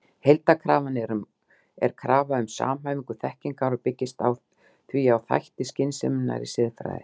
Heildarkrafan er krafa um samhæfingu þekkingar og byggist því á þætti skynseminnar í siðfræðinni.